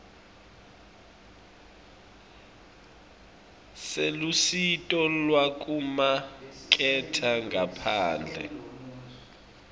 selusito lwekumaketha ngaphandle